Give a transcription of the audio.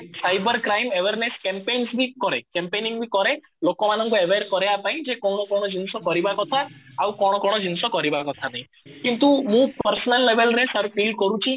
cyber crime awareness campaigns ବି କରେ campaigning ବି କରେ ଲୋକ ମାନଙ୍କୁ aware କରେଇବା ପାଇଁ ଯେ କଣ କଣ ଜିନିଷ କରିବା କଥା ଆଉ କଣ କଣ ଜିନିଷ କରିବା କଥା ନାଇଁ କିନ୍ତୁ ମୁଁ personal level ରେ ସାର feel କରୁଛି